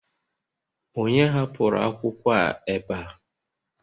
onye hapụrụ akwụkwọ a ebe a?